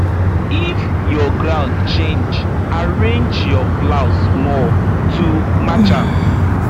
if your ground change arrange your plow small to match am